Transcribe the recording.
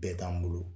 Bɛɛ t'an bolo